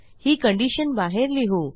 ही condition बाहेर लिहू